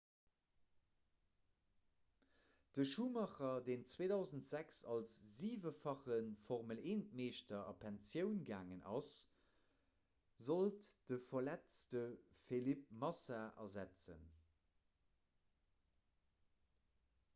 de schumacher deen 2006 als siwefache formel-1-meeschter a pensioun gaangen ass sollt de verletzte felipe massa ersetzen